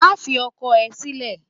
Má fi ọkọ ẹ sílè!